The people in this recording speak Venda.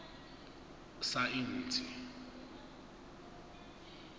saintsi